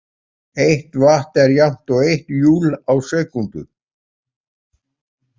Eitt vatt er jafnt og eitt júl á sekúndu.